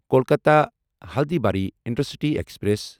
Kolkata Haldibari intercity express